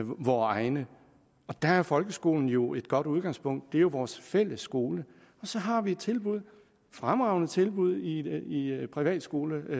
på vore egne og der er folkeskolen jo et godt udgangspunkt det er jo vores fælles skole og så har vi et tilbud et fremragende tilbud i i privatskoleregi